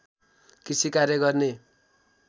कृषि कार्य गर्ने